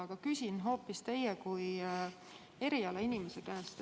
Aga ma küsin hoopis teie kui erialainimese käest.